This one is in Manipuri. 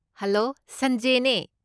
ꯍꯂꯣ, ꯁꯟꯖꯦꯅꯦ꯫